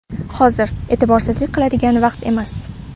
Hozir e’tiborsizlik qiladigan vaqt emas.